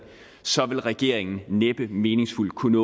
så ville regeringen næppe meningsfuldt kunne